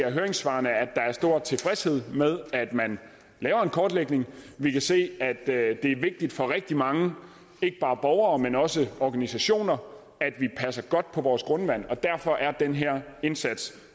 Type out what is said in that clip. af høringssvarene at der er stor tilfredshed med at man laver en kortlægning vi kan se at det er vigtigt for rigtig mange ikke bare borgere men også organisationer at vi passer godt på vores grundvand og derfor er den her indsats